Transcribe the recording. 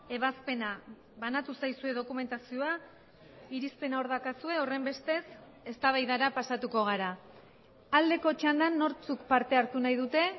ebazpena banatu zaizue dokumentazioa irizpena hor daukazue horrenbestez eztabaidara pasatuko gara aldeko txandan nortzuk parte hartu nahi dute